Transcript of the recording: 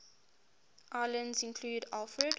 islands included alfred